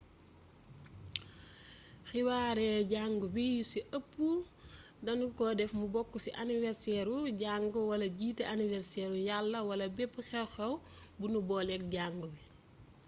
xewaare jàngu bi yu ci ëpp danu ko def mu bokk ci aniwerseeru jàngu walajiite aniwerseeru yàlla wala bepp xew-xew bu nu booleek jàngu bi